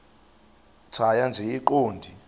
tjhaya nje iqondee